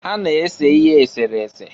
Ha na-ese ihe esere ese.